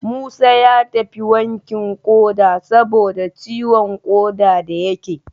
Musa ya tafi wankin ƙoda saboda ciwon ƙoda da yake